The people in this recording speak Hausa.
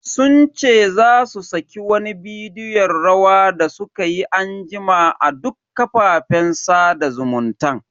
Sun ce za su saki wani bidiyon rawa da sukayi anjima a duk kafafen sada zumuntan.